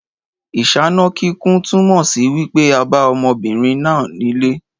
Ìsáná kíkún túnmọ̀ sí wípé a bá ọmọbinrin nà nílé